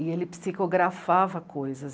E ele psicografava coisas.